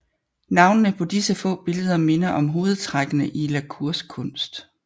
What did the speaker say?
Navnene på disse få billeder minder om hovedtrækkene i la Cours kunst